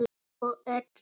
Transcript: Þú ert api.